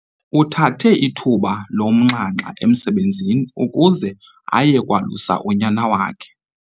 Uthathe ithuba lomnxanxa emsebenzini ukuze aye kwalusa unyana wakhe.